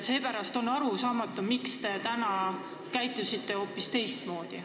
Seepärast on arusaamatu, miks te täna käitusite hoopis teistmoodi.